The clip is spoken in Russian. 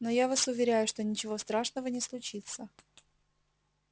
но я вас уверяю что ничего страшного не случится